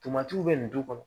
Tomatiw bɛ nin du kɔnɔ